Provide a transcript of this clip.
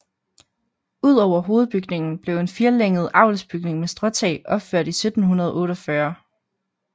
Ud over hovedbygningen blev en firelænget avlsbygning med stråtag opført i 1748